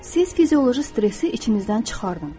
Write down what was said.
Siz fizioloji stressi içinizdən çıxardın.